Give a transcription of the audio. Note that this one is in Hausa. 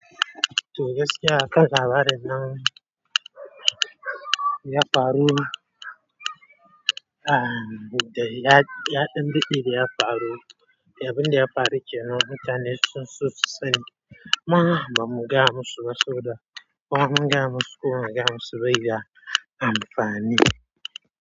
Toh gaskiya aka labarin nan ya faru, a, da ya, ya, ɗan din da ya faru. Ya abin da ya faru kenan mutane sunso sani. Mana ba mu ga musu saboda kuma ba mu ga musu kuma ba mu ga musu bai yi amfani.